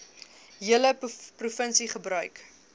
hele provinsie gebruik